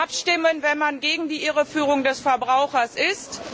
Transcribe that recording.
Wie muss man abstimmen, wenn man gegen die Irreführung des Verbrauchers ist?